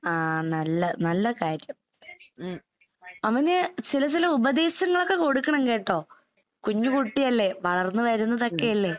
ആഹ് നല്ല, നല്ല കാര്യം. അവന് ചില ചില ഉപദേശങ്ങളൊക്കെ കൊടുക്കണം കേട്ടോ? കുഞ്ഞ് കുട്ടിയല്ലേ, വളർന്ന് വരുന്നതൊക്കെയല്ലേ?